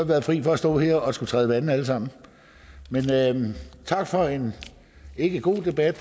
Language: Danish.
været fri for at stå her og skulle træde vande alle sammen men tak for en ikke god debat